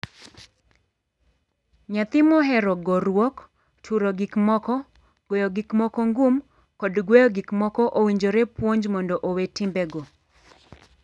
Nyathi mohero goruok, turo gik moko, goyo gik moko ngum, kod gweyo gik moko owinjore puonj mondo owee timbego.